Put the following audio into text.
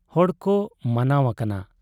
ᱦᱚᱲᱠᱚ ᱢᱟᱱᱟᱣ ᱟᱠᱟᱱᱟ ᱾